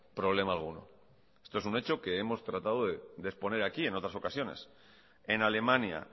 problema alguno esto es un hecho que hemos tratado de exponer aquí en otras ocasiones en alemania